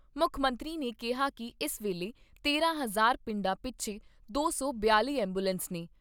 ਮੁੱਖ ਮੰਤਰੀ ਨੇ ਕਿਹਾ ਕਿ ਇਸ ਵੇਲੇ ਤਾਰਾਂ ਹਜ਼ਾਰ ਪਿੰਡਾਂ ਪਿਛੇ ਦੋ ਸੌ ਬਿਆਲ਼ੀ ਐਬੂਲੈਂਸ ਨੇ।